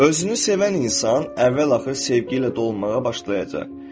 Özünü sevən insan əvvəl-axır sevgi ilə dolmağa başlayacaq.